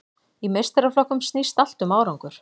Í meistaraflokkum snýst allt um árangur.